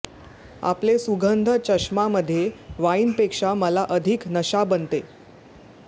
आपले सुगंध चष्मा मध्ये वाइन पेक्षा मला अधिक नशा बनते